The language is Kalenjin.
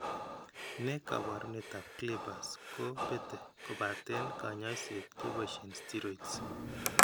Ne kaabarunetap CLIPPERS ko bete kobaaten kaany'ayseet keboisie steroids.